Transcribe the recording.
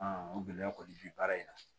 o gɛlɛya kɔni bɛ baara in na